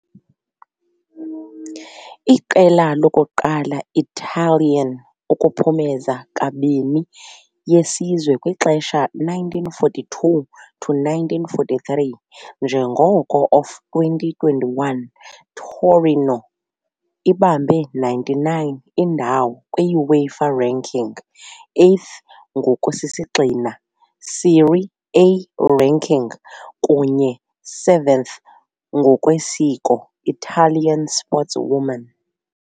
Iqela lokuqala Italian ukuphumeza "kabini" yesizwe kwixesha 1942-43, njengoko of 2021 Torino ibambe 99 indawo kwi UEFA ranking, 8th ngokusisigxina Serie A ranking kunye 7th ngokwesiko Italian sportswoman.